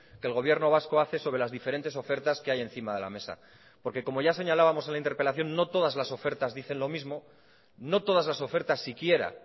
que el gobierno vasco hace sobre las diferentes ofertas que hay encima de la mesa porque como ya señalábamos en la interpelación no todas las ofertas dicen lo mismo no todas las ofertas si quiera